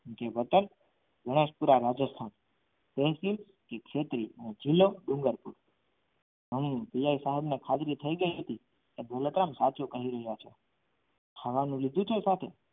કે વતન વણસપુરા રાજસ્થાન જીલ્લો ડુંગરપુર હા પીએસઆઇ સાહેબને ખાતરી થઈ ગઈ હતી કે દોલતરામ સાચું કહી રહ્યો છે ખાવાનું લીધું છે સાથે